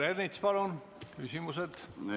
Peeter Ernits, palun küsimus!